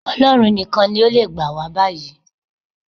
Ọlọ́run nìkan ló le gbà wá báyìí